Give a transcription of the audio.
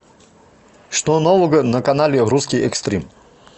что нового на канале русский экстрим